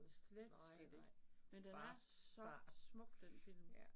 Slet slet ikke, men den er så smuk den film